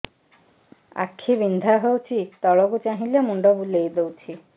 ଆଖି ବିନ୍ଧା ହଉଚି ତଳକୁ ଚାହିଁଲେ ମୁଣ୍ଡ ବୁଲେଇ ଦଉଛି